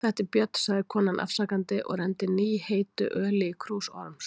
Þetta er Björn, sagði konan afsakandi og renndi nýheittu öli í krús Orms.